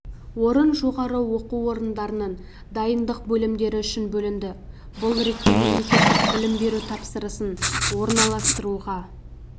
орын жоғары оқу орындарының дайындық бөлімдері үшін бөлінді бұл ретте мемлекеттік білім беру тапсырысын орналастыруға